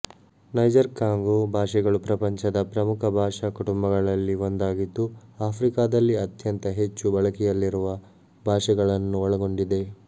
Niger-Congo ಭಾಷೆಗಳು ಪ್ರಪಂಚದ ಪ್ರಮುಖ ಭಾಷಾ ಕುಟುಂಬಗಳಲ್ಲಿ ಒಂದಾಗಿದ್ದು ಆಫ್ರಿಕಾದಲ್ಲಿ ಅತ್ಯಂತ ಹೆಚ್ಚು ಬಳಕೆಯಲ್ಲಿರುವ ಭಾಷೆಗಳನ್ನು ಒಳಗೊಂಡಿದೆ